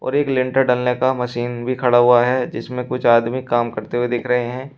और एक लेंटर ढालने का मशीन भी खड़ा हुआ है जिसमे कुछ आदमी काम करते हुए दिख रहे हैं।